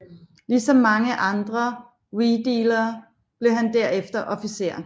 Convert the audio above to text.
Ligesom mange andre Wedeler blev han derefter officer